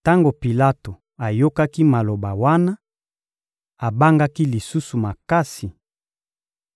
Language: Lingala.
Tango Pilato ayokaki maloba wana, abangaki lisusu makasi.